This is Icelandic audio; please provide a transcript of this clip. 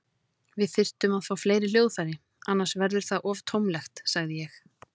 Við þyrftum að fá fleiri hljóðfæri, annars verður það of tómlegt, sagði ég.